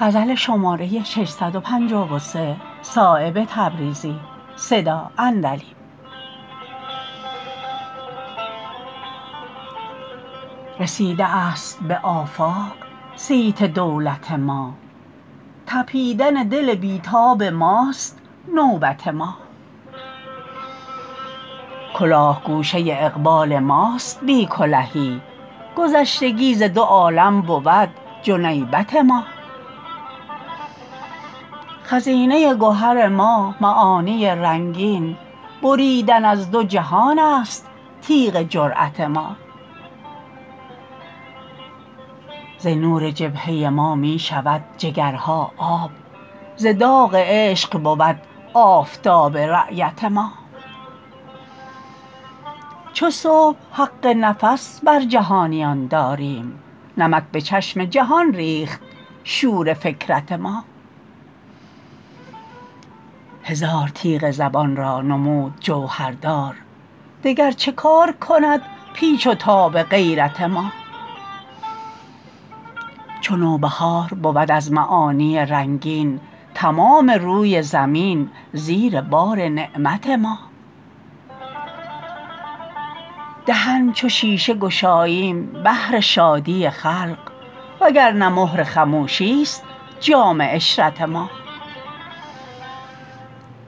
رسیده است به آفاق صیت دولت ما تپیدن دل بی تاب ماست نوبت ما کلاه گوشه اقبال ماست بی کلهی گذشتگی ز دو عالم بود جنیبت ما خزینه گهر ما معانی رنگین بریدن از دو جهان است تیغ جرأت ما ز نور جبهه ما می شود جگرها آب ز داغ عشق بود آفتاب رایت ما چو صبح حق نفس بر جهانیان داریم نمک به چشم جهان ریخت شور فکرت ما هزار تیغ زبان را نمود جوهردار دگر چه کار کند پیچ و تاب غیرت ما چو نوبهار بود از معانی رنگین تمام روی زمین زیر بار نعمت ما دهن چو شیشه گشاییم بهر شادی خلق وگرنه مهر خموشی است جام عشرت ما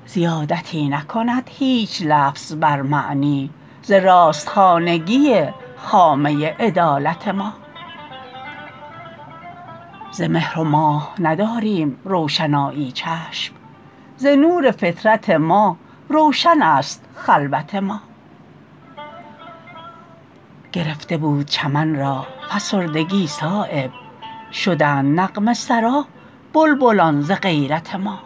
زیادتی نکند هیچ لفظ بر معنی ز راست خانگی خامه عدالت ما ز مهر و ماه نداریم روشنایی چشم ز نور فطرت ما روشن است خلوت ما گرفته بود چمن را فسردگی صایب شدند نغمه سرا بلبلان ز غیرت ما